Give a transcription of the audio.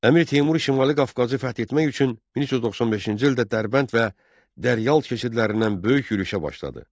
Əmir Teymur Şimali Qafqazı fəth etmək üçün 1395-ci ildə Dərbənd və Dəryal keçidlərindən böyük yürüşə başladı.